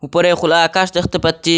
ওপরে খোলা আকাশ দেখতে পাচ্চি।